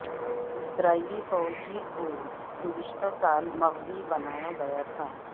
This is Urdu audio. اسرائیلی فوجی کو گزشتہ سال مغوی بنایا گیا تھا